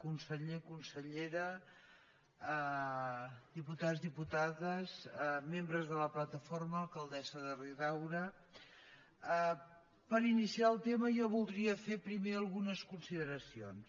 conseller consellera diputats diputades membres de la plataforma alcaldessa de riudaura per iniciar el tema jo voldria fer primer algunes consideracions